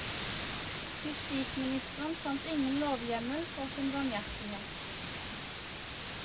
Justisministeren fant ingen lovhjemmel for sin barmhjertighet.